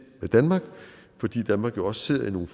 med danmark fordi danmark også sidder i nogle